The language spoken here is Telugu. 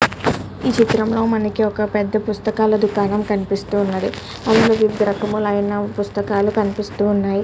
ఇక్కడ మనకు పుస్తకాలూ కనిపిస్తునటి చాల పుస్తకాలూ కనిపిస్తునాయి.